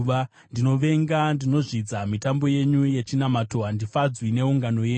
“Ndinovenga, ndinozvidza mitambo yenyu yechinamato; handifadzwi neungano dzenyu.